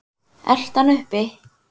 Eltu hann uppi